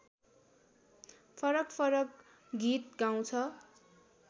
फरकफरक गीत गाउँछ